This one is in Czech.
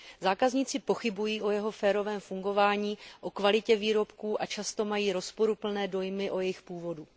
Zákazníci pochybují o jeho férovém fungování, o kvalitě výrobků a často mají rozporuplné dojmy o jejich původu.